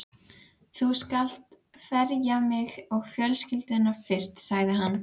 Þú skalt ferja mig og fjölskylduna fyrst, sagði hann.